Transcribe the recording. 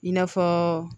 I n'a fɔ